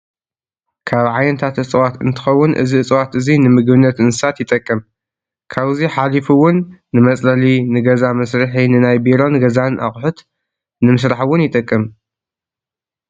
ካብ ዓይነታት እፅዋት እትከውን እዚ እፅዋት እዚ ንምግብነት እንስሳት ይጠቅም። ካብዙ ሓሉፉ እውን፣ ንመፅለሊ ፣ንገዛ መስሪሒ ንናይ ቢሮን ገዛን ኣቁሑት ንምስራሕ እውን ይጠቅም።